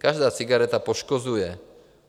Každá cigareta poškozuje.